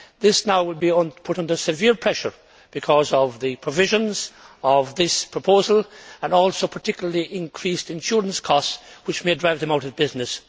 This now will be put under severe pressure because of the provisions of this proposal and also, particularly, increased insurance costs which may drive them out of business.